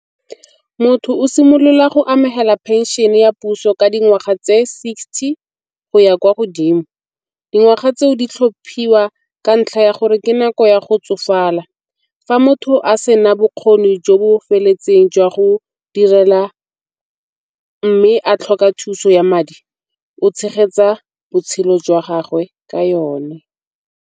Motho o simolola go amogela phenšene ya puso ka dingwaga tse sixty go ya kwa godimo. Dingwaga tseo di tlhophiwa ka ntlha ya gore ke nako ya go tsofala. Fa motho a se na bokgoni jo bo feletseng jwa go direla mme a tlhoka thuso ya madi o tshegetsa botshelo jwa gagwe ka yone.